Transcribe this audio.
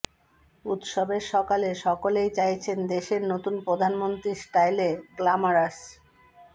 উত্সবের সকালে সকলেই চাইছেন দেশের নতুন প্রধানমন্ত্রীর স্টাইলে গ্ল্যামারাস